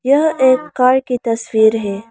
यह एक कार की तस्वीर है।